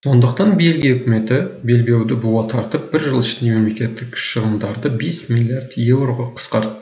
сондықтан бельгия үкіметі белбеуді буа тартып бір жыл ішінде мемлекеттік шығындарды бес миллиард еуроға қысқарт